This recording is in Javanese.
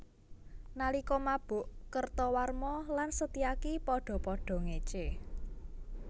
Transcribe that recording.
Nalika mabuk Kertawarma lan Setyaki padha padha ngécé